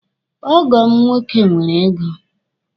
Ọgọ m nwoke nwere ego.